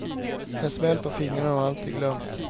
En smäll på fingrarna och allt är glömt.